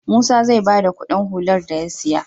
Musa zai bada Ƙudin hular da ya siya